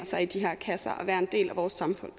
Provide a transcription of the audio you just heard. sig i de her kasser at være en del af vores samfund